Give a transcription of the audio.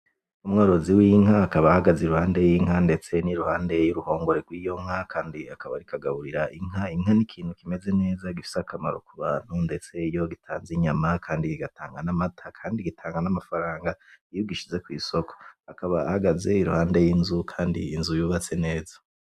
Umworozi w'inka akaba ahagaze iruhande y'inka ndetse n'iruhande y'uruhongore rwiyo nka kandi akaba ariko agaburira inka , inka ni ikintu kimeze neza gifise akamaro kubantu ndetse iyo gitanze inyama kandi kigatanga n'amata, kandi gitanga n'amafaranga iyo ugishize kwisoko, akaba ahagaze iruhande y'inzu kandi inzu yubatse neza.